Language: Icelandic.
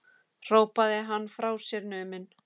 hrópaði hann frá sér numinn